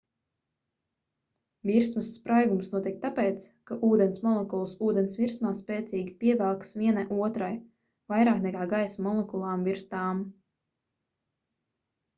virsmas spraigums notiek tāpēc ka ūdens molekulas ūdens virsmā spēcīgi pievelkas viena otrai vairāk nekā gaisa molekulām virs tām